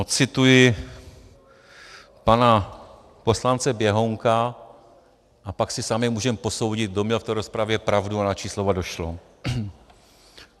Ocituji pana poslance Běhounka a pak si sami můžeme posoudit, kdo měl v té rozpravě pravdu a na čí slova došlo.